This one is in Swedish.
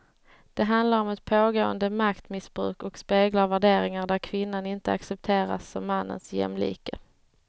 Det handlar om ett pågående maktmissbruk och speglar värderingar där kvinnan inte accepteras som mannens jämlike.